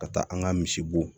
Ka taa an ka misibo